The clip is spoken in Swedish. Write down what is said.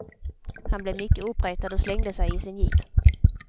Han blev mycket uppretad och slängde sig i sin jeep.